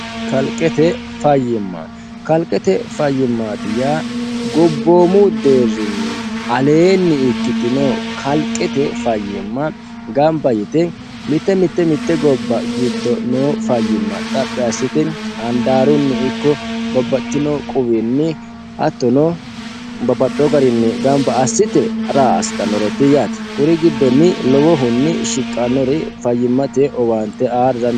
kalqete fayyimma kalqete fayyimmaati yaa gobboomu deerrinni aleenni ikkitino kalqete fayyimma gamba yite mitte mitte mitte gobba giddo noo fayyimma xaphi assite handaarunni ikko babbaxtino quwiinni hattono babbaxxiyo garinni gamba assite ra asitanoreti yaate kuri giddonni lowohunni shiqqanori fayyimmate owaante aa dandiitayo